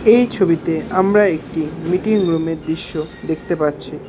এই ছবিতে আমরা একটি মিটিং রুম -এর দৃশ্য দেখতে পাচ্ছি।